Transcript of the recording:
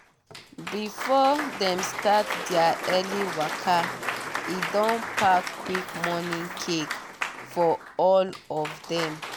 before dem start their early waka e don pack quick morning cake for all of dem.